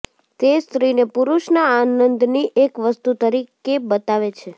તે સ્ત્રીને પુરુષના આનંદની એક વસ્તુ તરીકે બતાવે છે